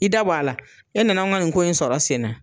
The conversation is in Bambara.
I da bɔ a la, e nana an ka nin ko in sɔrɔ sen na.